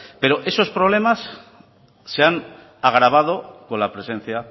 pero esos problemas se han agravado con la presencia